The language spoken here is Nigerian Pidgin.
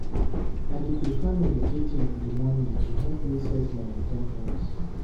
I dey prefer meditating in the morning to help me set my in ten tions.